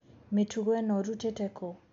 Mĩtugo ĩno ũrutĩte kũũ.